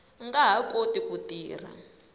nga ha koti ku tirha